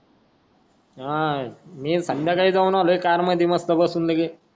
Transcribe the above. हां मी संध्याकाळी जाऊनलोय मस्त कार मध्ये बसून लगेच